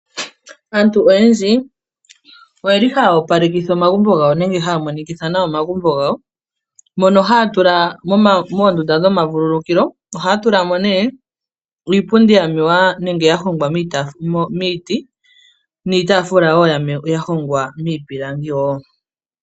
Aantu oyendji oye li haya opalekitha omagumbo gawo nenge haya monikitha omagumbo gawo , mono haya tula moondunda dhokuvulukilwa iipundi mewa nenge yahongwa miiti niitaafula yahongwa miipilangi wo.